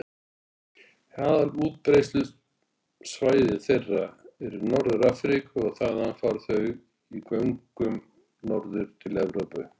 Aðalútbreiðslusvæði þeirra er í Norður-Afríku og þaðan fara þau í göngum norður til Evrópu.